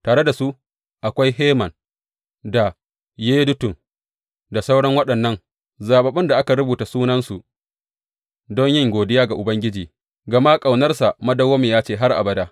Tare da su akwai Heman da Yedutun da sauran waɗannan zaɓaɓɓun da aka rubuta sunansu don yin godiya ga Ubangiji, gama ƙaunarsa madawwamiya ce har abada.